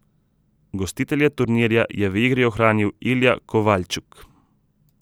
Gostitelje turnirja je v igri ohranil Ilja Kovaljčuk.